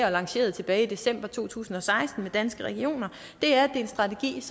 og lanceret tilbage i december to tusind og seksten med danske regioner det er en strategi der